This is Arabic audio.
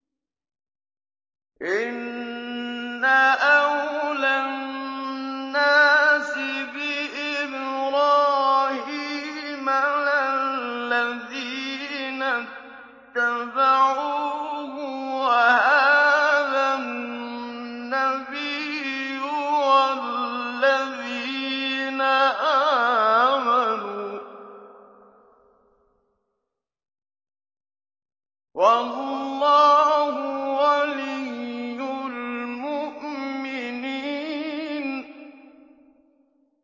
إِنَّ أَوْلَى النَّاسِ بِإِبْرَاهِيمَ لَلَّذِينَ اتَّبَعُوهُ وَهَٰذَا النَّبِيُّ وَالَّذِينَ آمَنُوا ۗ وَاللَّهُ وَلِيُّ الْمُؤْمِنِينَ